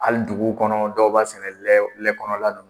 Hali duguw kɔnɔ dɔw b'a sɛnɛ lɛ lɛ kɔnɔna la.